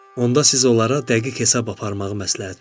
Onda siz onlara dəqiq hesab aparmağı məsləhət görün.